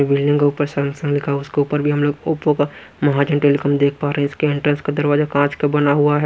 Building का ऊपर Samsung लिखा हुआ उसके ऊपर भी हम लोग ओप्पो का महाजन टेलिकॉम देख पा रहे हैं इसके एंट्रेंस का दरवाजा कांच का बना हुआ है।